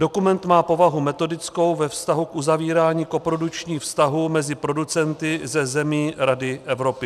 Dokument má povahu metodickou ve vztahu k uzavírání koprodukčních vztahů mezi producenty ze zemí Rady Evropy.